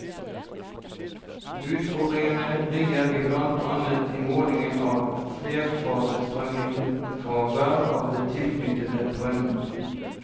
Utfordringene ligger blant annet i måling av flerfasestrømning fra hver av de tilknyttede brønnene.